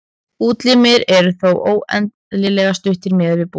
útlimir eru þá óeðlilega stuttir miðað við búk